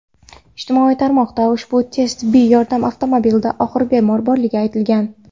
Ijtimoiy tarmoqda ushbu tez tibbiy yordam avtomobilida og‘ir bemor borligi aytilgan.